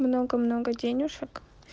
много-много денежек